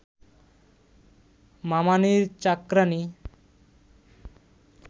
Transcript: মামানীর চাকরাণী